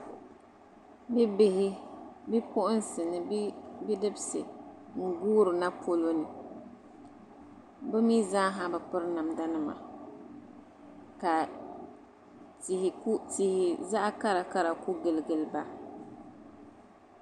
Bibihi bipuɣinsi ni bidibisi n-guurina polo ni bɛ mi zaaha bi piri namdanima ka tihi zaɣ' karakara ku giligili ba.